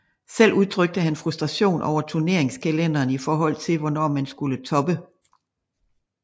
Selv udtrykte han frustration over turneringskalenderen i forhold til hvornår man skulle toppe